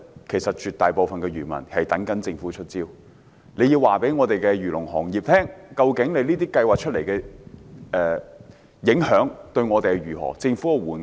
其實，絕大部分漁民現正等待政府"出招"，但政府要告訴漁農行業，究竟這些計劃推出後，對行業有何影響？